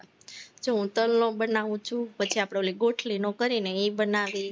જો તલનો બનાવું છું, પછી આપણે ગોટલીનો કરી ને એ બનાવી